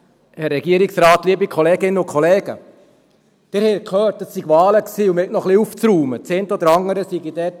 Das eine oder andere sei dort hängen geblieben.